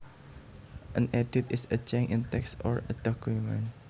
An edit is a change in text or a document